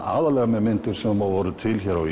með myndir sem voru til hér á